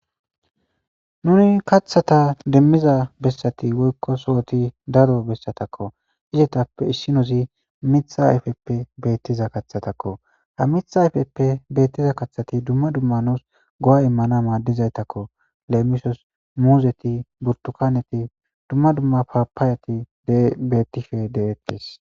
Nuni kathata demmiza bessati woykko sohoti daro bessatakko isetappe issinuzi mitha ayfeppe beettiza kathatakko ha mitha ayfeppe beettiza kathati dumma dumma nuus go'a immana maaddizaytakko leemisos muuzeti burtukaneti dumma dumma papaayati bettife deettes.